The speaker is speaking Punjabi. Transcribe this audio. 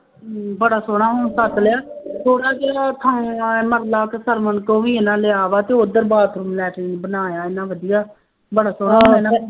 ਬੜਾ ਸੋਹਣਾ ਹੁਣ ਛੱਤ ਲਿਆ, ਥੋੜ੍ਹਾ ਜਿਹਾ ਥਾਂ ਮਰਲਾ ਕੁ ਸਰਵਣ ਤੋਂ ਵੀ ਇਹਨਾ ਲਿਆ ਵਾ ਅਤੇ ਉੱਧਰ ਬਾਥਰੂਮ ਲੈਟਰੀਨ ਬਣਾਇਆ ਐਨਾ ਵਧੀਆ ਬੜਾਂ ਸੋਹਣਾ